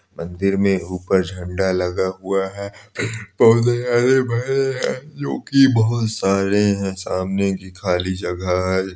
मंदिर में ऊपर झंडा लगा हुआ है पौधे हरे -भरे है जोकि बहुत सारे है सामने की खाली जगह हैं।